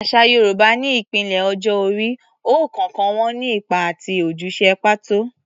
Àṣà Yorùbá ní ìpele ọjọ́ orí, ọ̀kọ̀ọ̀kan wọn ní ipa àti ojúṣe pàtó.